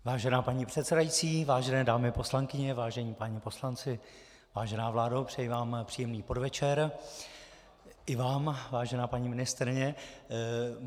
Vážená paní předsedající, vážené dámy poslankyně, vážení páni poslanci, vážená vládo, přeji vám příjemný podvečer, i vám, vážená paní ministryně.